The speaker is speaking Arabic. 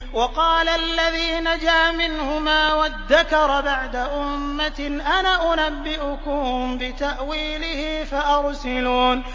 وَقَالَ الَّذِي نَجَا مِنْهُمَا وَادَّكَرَ بَعْدَ أُمَّةٍ أَنَا أُنَبِّئُكُم بِتَأْوِيلِهِ فَأَرْسِلُونِ